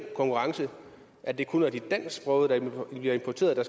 konkurrence at det kun er de dansksprogede der bliver importeret der